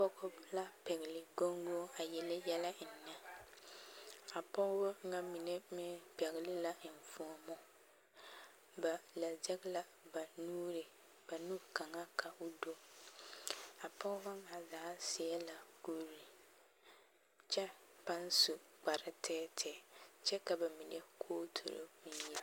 pɔgba la pɛle goŋgoŋ a yeli yɛllɛ eŋne a pɔgba nyɛ mine eŋ pɛle la eŋfoomʋ meŋ pɛle la ba lɛ sege la ba nuri a nu kaŋa ka o du a pɔgba nyɛ zaa sie la kuri kyɛ paŋ su kpare tɛɛtɛɛ kyɛ ka ba mine kooture.